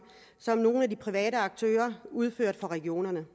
som nogle af de private aktører udførte for regionerne